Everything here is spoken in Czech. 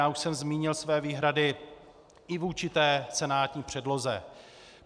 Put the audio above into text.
Já už jsem zmínil své výhrady i vůči té senátní předloze.